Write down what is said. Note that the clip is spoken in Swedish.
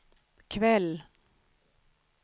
kväll